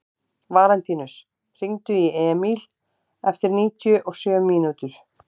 Valentínus, hringdu í Emíl eftir níutíu og sjö mínútur.